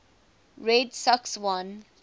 red sox won